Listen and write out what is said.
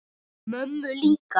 Mömmu líka?